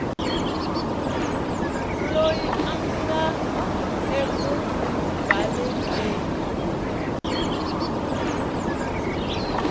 loyi a nga eku balekeni